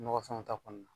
Nɔgɔ fɛnw ta kɔnɔna na